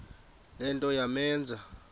le nto yamenza